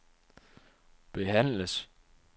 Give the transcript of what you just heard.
behandles